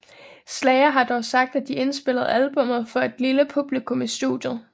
Slayer har dog sagt at de indspillede albummet for et lille publikum i studiet